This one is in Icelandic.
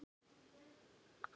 Æðsta ástin blíða!